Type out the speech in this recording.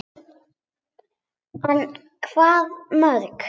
En hvaða mörk?